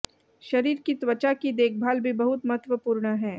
शरीर की त्वचा की देखभाल भी बहुत महत्वपूर्ण है